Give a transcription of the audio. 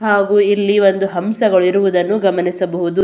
ಹಾಗು ಇಲ್ಲಿ ಒಂದು ಹಂಸಗಳು ಇರುವುದನ್ನು ಗಮನಿಸಬಹುದು.